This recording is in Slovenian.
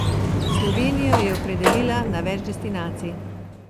Slovenijo je opredelila na več destinacij.